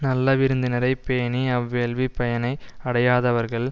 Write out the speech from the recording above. நல்ல விருந்தினரை பேணி அவ்வேள்விப் பயனை அடையாதவர்கள்